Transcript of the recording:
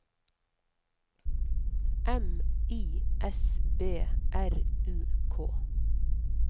M I S B R U K